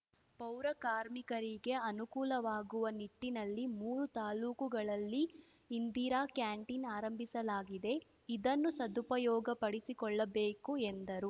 ಪೌರ ಕಾರ್ಮಿಕರಿಗೆ ಅನುಕೂಲವಾಗುವ ನಿಟ್ಟಿನಲ್ಲಿ ಮೂರು ತಾಲ್ಲೂಕುಗಳಲ್ಲಿ ಇಂದಿರಾ ಕ್ಯಾಂಟೀನ್‌ ಆರಂಭಿಸಲಾಗಿದೆ ಇದನ್ನು ಸದುಪಯೋಗಪಡಿಸಿಕೊಳ್ಳಬೇಕು ಎಂದರು